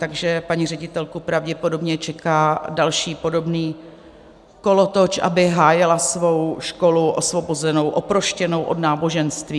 Takže paní ředitelku pravděpodobně čeká další podobný kolotoč, aby hájila svou školu, osvobozenou, oproštěnou od náboženství.